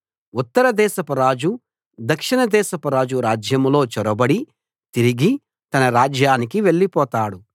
ఉత్తర దేశపురాజు దక్షిణ దేశపురాజు రాజ్యంలో చొరబడి తిరిగి తన రాజ్యానికి వెళ్ళిపోతాడు